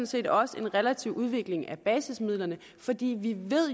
set også en relativ udvikling af basismidlerne fordi vi